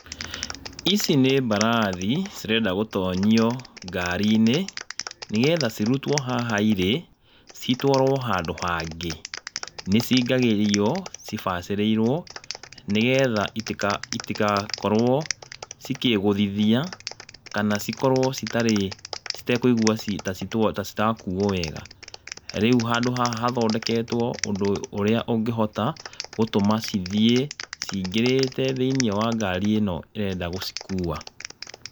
Ici nĩ mbarathi cirenda gũtonyio ngari-inĩ, nĩgetha cirutwo haha irĩ, itwarwo handũ hangĩ, nĩ cingĩragio cibacĩrĩirwo nĩgetha itigakorwo ikĩgúthithia kana cikorwo citakũigua ta citarakuo wega. Rĩu handũ haha hathondeketwo ũndũ ũrĩa ũngĩhota gũtũma cithiĩ cingĩrĩte thĩ-inĩ wa ngari ĩno ĩrenda gũcikua.